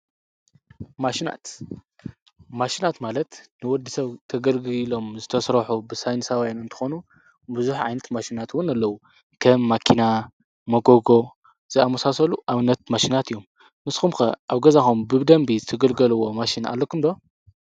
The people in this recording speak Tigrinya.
ማሽናት፦ ማሽናት ማለት ንወዲሰብ ከገልግሉ ኢሎም ዝተሰርሑ ብሳይነሳውያን እንትኾኑ ብዙሕ ዓይነት ማሽናት እውን ኣለው። ከም መኪና፣ መጎጎ ዝኣምሳሰሉ ኣብነት መሽናት እዮም፡፡ ንስኩም ከ ኣብ ገዛኩም ብደንቢ ትግልገልዎ ማሽን ኣለኩም ዶ?